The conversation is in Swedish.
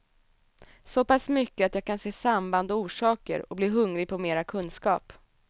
Såpass mycket att jag kan se samband och orsaker och bli hungrig på mera kunskap.